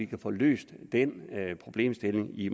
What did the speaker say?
kan få løst den problemstilling i